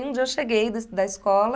E um dia eu cheguei da da escola...